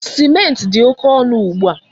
Simenti dị oké ọnụ ugbu a.